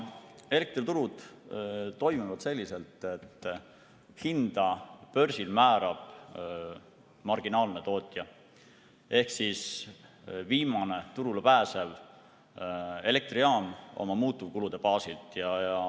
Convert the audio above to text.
Elektriturud toimivad selliselt, et hinda börsil määrab marginaalne tootja ehk viimane turule pääsev elektrijaam oma muutuvkulude baasilt.